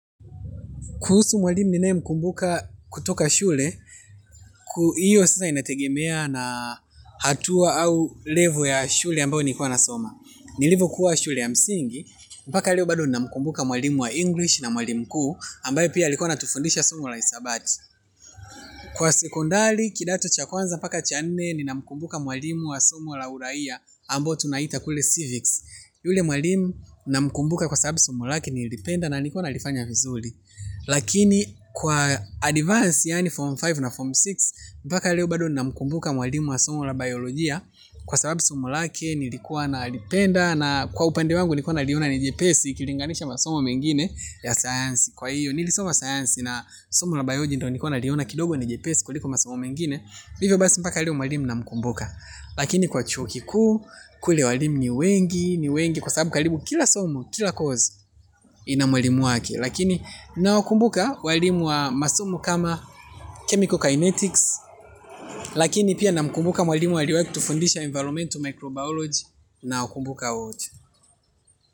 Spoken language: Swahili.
Kuhusu mwalimu ninayemkumbuka kutoka shule, hiyo sasa inategemea na hatua au level ya shule ambao nilikua nasoma. Nilivokuwa shule ya msingi, mpaka leo bado ninamkumbuka mwalimu wa English na mwalimu kuu, ambaye pia alikuwa anatufundisha sumo la hisabati. Kwa sekondari, kidato cha kwanza mpaka cha nne, ninamkumbuka mwalimu wa somo la uraia ambao tunaita kule civics. Yule mwalimu namkumbuka kwa sababu somo lake nilipenda na nilikua ninalifanya vizuri. Lakini kwa advance yaani form tano na form sita mpaka leo bado namkumbuka mwalimu wa somo la biolojia. Kwa sababu somo lake nilikuwa nalipenda. Na kwa upande wangu nikuwa naliona ni jepesi ukilinganisha masomo mengine ya science. Kwa hiyo nilisoma science na somo la biolojia ndo nikuwa naliona kidogo ni jepesi kuliko masomo mengine hivyo basi mpaka leo mwalimu namkumbuka. Lakini kwa chuo kikuu kule walimu ni wengi. Ni wengi kwa sababu karibu kila somo kila course ina mwalimu wake. Lakini nawakumbuka walimu wa masomo kama chemical kinetics lakini pia namkumbuka mwalimu aliwahi kutufundisha environment microbiology nawakumbuka wote.